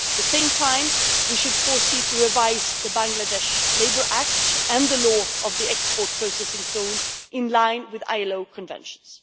At the same time, we should foresee to revise the Bangladesh Labour Act and the law on the export processing zones in line with ILO conventions.